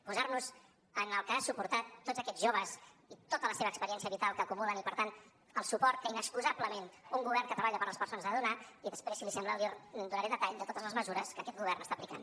posar nos en el que han suportat tots aquests joves i tota la seva experiència vital que acumulen i per tant el suport que inexcusablement un govern que treballa per les persones ha de donar i després si li sembla li donaré detall de totes les mesures que aquest govern està aplicant